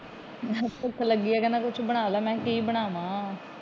ਭੁੱਖ ਲੱਗੀ ਏ ਕੁਛ ਬਣਾ ਲੈ, ਮੈ ਕਿਹਾ ਕਿ ਬਨਾਵਾ।